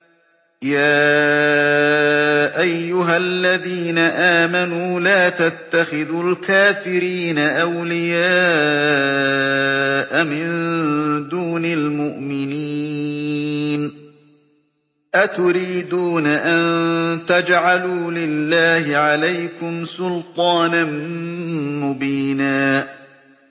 يَا أَيُّهَا الَّذِينَ آمَنُوا لَا تَتَّخِذُوا الْكَافِرِينَ أَوْلِيَاءَ مِن دُونِ الْمُؤْمِنِينَ ۚ أَتُرِيدُونَ أَن تَجْعَلُوا لِلَّهِ عَلَيْكُمْ سُلْطَانًا مُّبِينًا